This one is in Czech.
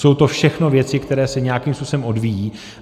Jsou to všechno věci, které se nějakým způsobem odvíjejí.